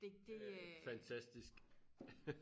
det det øh